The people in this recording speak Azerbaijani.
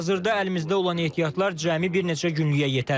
Hazırda əlimizdə olan ehtiyatlar cəmi bir neçə günlük yətər.